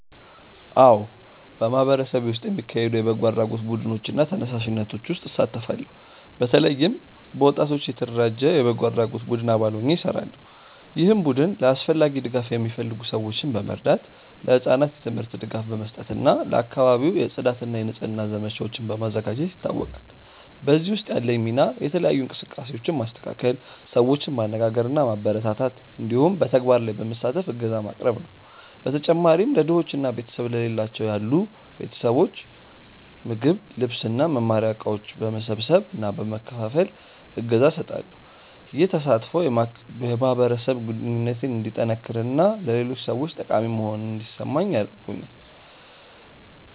አዎ፣ በማህበረሰቤ ውስጥ የሚካሄዱ የበጎ አድራጎት ቡድኖች እና ተነሳሽነቶች ውስጥ እሳተፋለሁ። በተለይም በወጣቶች የተደራጀ የበጎ አድራጎት ቡድን አባል ሆኜ እሰራለሁ፣ ይህም ቡድን ለአስፈላጊ ድጋፍ የሚፈልጉ ሰዎችን በመርዳት፣ ለህጻናት የትምህርት ድጋፍ በመስጠት እና ለአካባቢው የጽዳት እና የንጽህና ዘመቻዎችን በማዘጋጀት ይታወቃል። በዚህ ውስጥ ያለኝ ሚና የተለያዩ እንቅስቃሴዎችን ማስተካከል፣ ሰዎችን ማነጋገር እና ማበረታታት እንዲሁም በተግባር ላይ በመሳተፍ እገዛ ማቅረብ ነው። በተጨማሪም ለድሆች እና ቤተሰብ ለሌላቸው ያሉ ቤተሰቦች ምግብ፣ ልብስ እና መማሪያ እቃዎች በመሰብሰብ እና በመከፋፈል እገዛ እሰጣለሁ። ይህ ተሳትፎ የማህበረሰብ ግንኙነቴን እንዲጠነክር እና ለሌሎች ሰዎች ጠቃሚ መሆኔን እንዲሰማኝ አድርጎኛል።